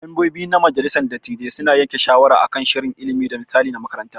Membobi na majalissar dattijai su na yanke shawara akan shirin ilimi da misali na makaranta.